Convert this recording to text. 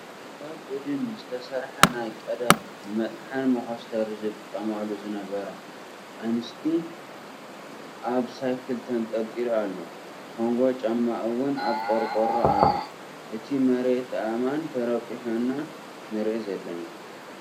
ካብ እድን ዝተሰርሐ ናይ ቀደም ንመጥሓን መኮስተሪ ዝጥቀማሉ ዝነበራ ኣንስቲ ኣብ ሳይክል ተንጠልጢሉ ኣሎ ። ኮንጎ ጫማ እውን ኣብ ቆርቆሮ ኣሎ እቲ መርየት ኣእማን ተረቂሑ ኢና ንርኢ ዘለና።